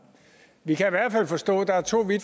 så det